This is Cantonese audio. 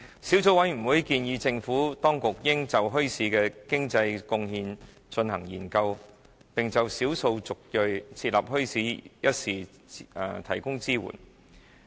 小組委員會建議政府當局應就墟市的經濟貢獻進行研究，並就少數族裔設立墟市一事提供支援。